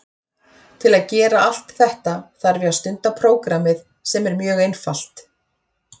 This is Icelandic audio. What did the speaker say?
Til að gera allt þetta þarf ég að stunda prógrammið sem er mjög einfalt.